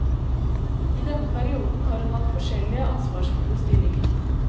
I denne perioden har hun hatt forskjellige ansvarsfulle stillinger.